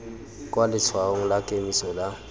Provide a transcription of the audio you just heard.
kwa letshwaong la kemiso la